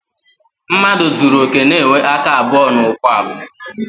Mmadụ zuru okè na-enwe aka abụọ na ụkwụ abụọ.